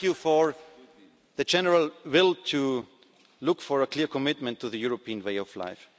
I thank you for the general will to look for a clear commitment to the European way